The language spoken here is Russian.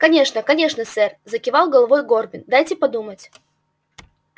конечно конечно сэр закивал головой горбин дайте подумать